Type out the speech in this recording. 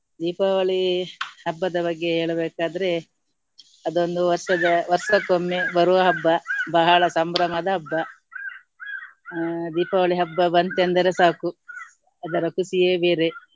ದೀಪಾವಳಿ ಹಬ್ಬದ ಬಗ್ಗೆ ಹೇಳಬೇಕಾದ್ರೆ ಅದೊಂದು ವರ್ಷದ ವರ್ಷಕ್ಕೊಮ್ಮೆ ಬರುವ ಹಬ್ಬ ಬಹಳ ಸಂಭ್ರಮದ ಹಬ್ಬ. ಆ ದೀಪಾವಳಿ ಹಬ್ಬ ಬಂತೆಂದರೆ ಸಾಕು ಅದರ ಖುಷಿಯೇ ಬೇರೆ.